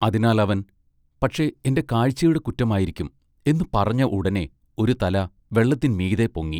അതിനാൽ അവൻ പക്ഷെ എന്റെ കാഴ്ചയുടെ കുറ്റമായിരിക്കും" എന്നു പറഞ്ഞ ഉടനെ ഒരു തല വെള്ളത്തിൻ മീതെ പൊങ്ങി.